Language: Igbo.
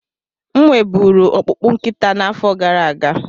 M nwe buru ọkpụkpụ nkịta n'afọ gara aga.